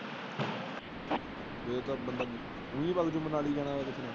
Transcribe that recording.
ਫਿਰ ਤਾਂ ਬੰਦਾ ਫ੍ਰੀ ਵਗ ਜਾਉ, ਜੇ ਮਨਾਲੀ ਜਾਣਾ।